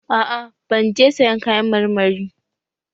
A'a ban je sayan kayan marmari